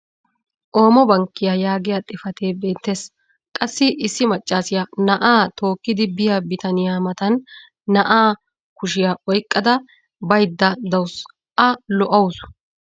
Oomo Bankkiya yaagiyaa xifatee beettees. Qassi issi macaassiya na'aa tookkidi biya bitanniya matan na'aa kushiya oyqqada baydda dawusu. A lo'awusu.